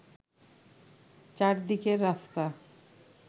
চারদিকের রাস্তা